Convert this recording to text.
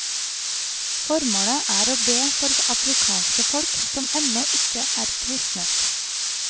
Formålet er å be for afrikanske folk som ennå ikke er kristnet.